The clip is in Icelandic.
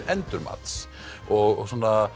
endurmats og